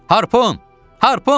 Harpun, harpun!